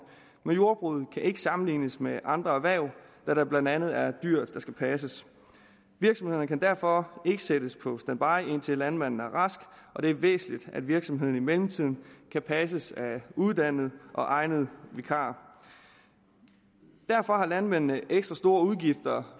men jordbruget kan ikke sammenlignes med andre erhverv da der blandt andet er dyr der skal passes virksomhederne kan derfor ikke sættes på standby indtil landmanden er rask og det er væsentligt at virksomheden i mellemtiden kan passes af uddannede og egnede vikarer derfor har landmændene ekstra store udgifter